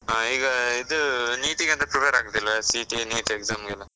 ಆ ಈಗ ಇದೂ NEET ಗೆ ಎಂತ prepare ಆಗೂದಿಲ್ವ, CET, NEET exam ಗೆಲ್ಲ?